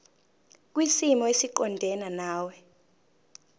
kwisimo esiqondena nawe